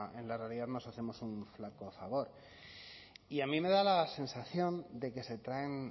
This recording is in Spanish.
en la realidad nos hacemos un flaco favor y a mí me da la sensación de que se traen